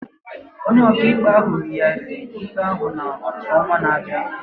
Onye ọkaikpe yigharịrị ikpe ahụ n'ọnwa na-abịa.